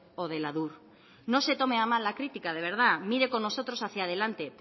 o del adur no se tome a mal la crítica de verdad mire con nosotros hacia delante